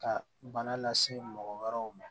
Ka bana lase mɔgɔ wɛrɛw ma